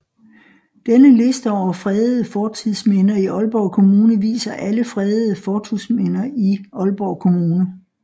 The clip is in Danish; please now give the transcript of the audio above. Denne liste over fredede fortidsminder i Aalborg Kommune viser alle fredede fortidsminder i Aalborg Kommune